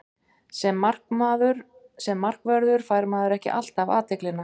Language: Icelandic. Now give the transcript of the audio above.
Sem markvörður fær maður ekki alltaf athyglina.